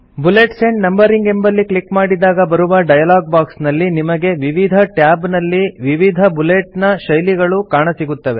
bullets and numbering ಎಂಬಲ್ಲಿ click ಮಾಡಿದಾಗ ಬರುವ ಡಯಲಾಗ್ ಬಾಕ್ಸ್ ನಲ್ಲಿ ನಿಮಗೆ ವಿವಿಧ ಟ್ಯಾಬ್ ನಲ್ಲಿ ವಿವಿಧ ಬುಲೆಟ್ ನ ಶೈಲಿಗಳು ಕಾಣಸಿಗುತ್ತವೆ